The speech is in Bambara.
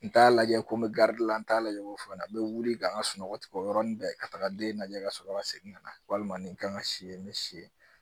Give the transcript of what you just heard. N t'a lajɛ ko n bɛ garidi la n t'a lajɛ ko fɔ n ɲɛna n bɛ wuli ka n ka sunɔgɔ tigɛ o yɔrɔnin bɛɛ ka taga den lajɛ ka sɔrɔ ka segin ka na walima nin kan ka si ye n bɛ si ye